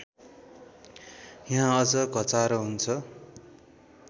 यहाँ अझ घचारो हुन्छ